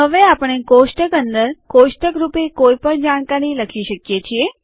હવે આપણે કોષ્ટક અંદર કોષ્ટક રૂપે કોઈપણ જાણકારી લખી શકીએ છીએ